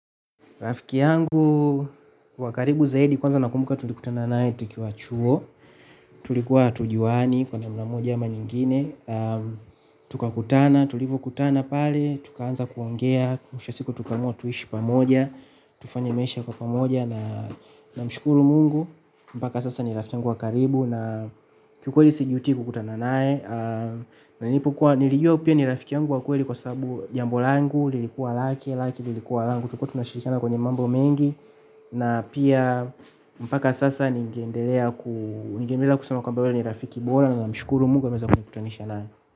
Rafiki yangu wa karibu zaidi kwanza nakumbuka tulikutanana naye tukiwa chuo. Tulikuwa hatujuani kwa namna moja ama nyingine tukakutana, tulivyokutana pale, tukaanza kuongea. Mwisho wa siku tukaamua tuishi pamoja, tufanye maisha kwa pamoja na namshukuru Mungu mpaka sasa ni rafiki yangu wa karibu na kiukweli sijuti kukutana naye na nilipokua nilijua pia ni rafiki yangu wa kweli kwa sababu jambo langu, lilikuwa lake, lake, lilikuwa langu tulikuwa tumeshirikana kwenye mambo mengi na pia mpaka sasa ningeendelea ku ningeendelea kusema kwamba huyo ni rafiki bora na namshukuru Mungu ameweza kunikutanisha naye.